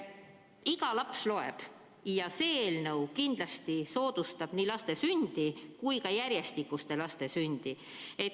Iga laps on tähtis ja see eelnõu kindlasti soodustab nii laste sündi kui ka järjestikuste laste sündi.